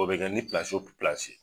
O bɛ kɛ ni